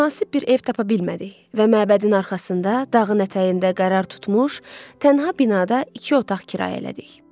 Münasib bir ev tapa bilmədik və məbədin arxasında, dağın ətəyində qərar tutmuş, tənha binada iki otaq kirayə elədik.